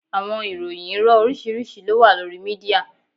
Awọn ìròyìn iro oriṣiriṣi lo wa lori media.